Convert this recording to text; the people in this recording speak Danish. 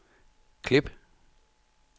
klip